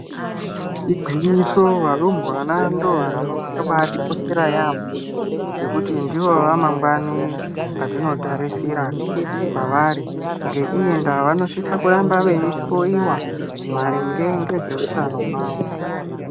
Igwinyiso varumbwana ndivo vanthu vakabaatikoshera yaambo nekuti ndivo vamangwani vatinotarisira kwavari ngeiyi ndaa vanosisa kuramba veihloyiwa marinne ngezveutano hwavo.